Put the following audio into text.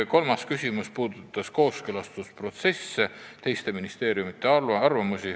Kolmas küsimus puudutas kooskõlastusprotsessi, teiste ministeeriumide arvamusi.